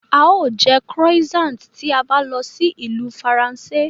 Á ó jẹ́ Croissant tí a bá lọ sí ìlú Faransé